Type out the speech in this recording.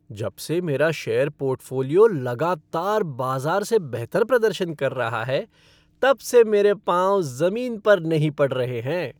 जब से मेरा शेयर पोर्टफ़ोलियो लगातार बाज़ार से बेहतर प्रदर्शन कर रहा है तब से मेरे पाँव ज़मीन पर नहीं पड़ रहे हैं।